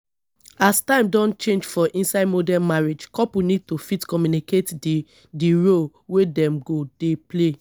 as time don change for inside modern marriage couple need to fit communicate di di roles wey dem go dey play